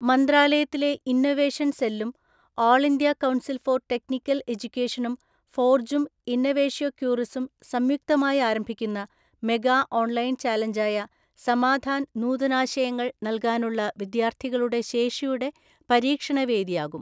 മന്ത്രാലയത്തിലെ ഇന്നവേഷന്‍ സെല്ലും all‍ India council‍ for‍ technical‍ എജ്യുക്കേഷനും ഫോർജും ഇന്നവേഷ്യോക്യുറിസും സംയുക്തമായി ആരംഭിക്കുന്ന മെഗാ ഓൺലൈന്‍ ചാലഞ്ചായ സമാധാന്‍ നൂതനാശയങ്ങള്‍ നൽകാനുള്ള വിദ്യാർത്ഥികളുടെ ശേഷിയുടെ പരീക്ഷണവേദിയാകും.